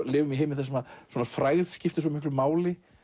lifum í heimi þar sem frægð skiptir svo miklu máli